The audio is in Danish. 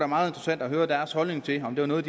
meget interessant at høre deres holdning til om det var noget